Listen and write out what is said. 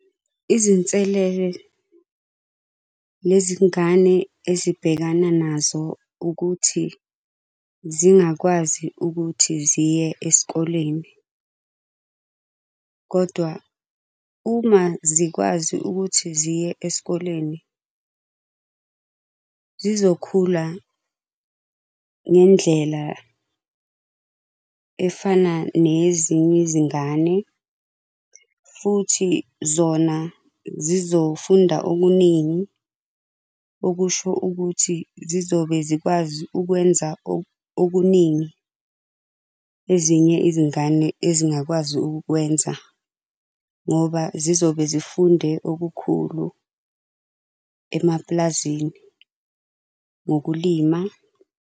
Izinselele nezingane ezibhekana nazo ukuthi, zingakwazi ukuthi ziye esikoleni. Kodwa uma zikwazi ukuthi ziye esikoleni zizokhula ngendlela efana neyezinye izingane futhi zona zizofunda okuningi okusho ukuthi zizobe zikwazi ukwenza okuningi ezinye izingane ezingakwazi ukukwenza. Ngoba zizobe zifunde okukhulu emapulazini ngokulima.